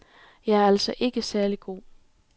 Jeg er altså ikke særlig god.